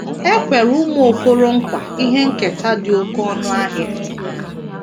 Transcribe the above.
E kwere ụmụ Okoronkwa ihe nketa dị oké ọnụ ahịa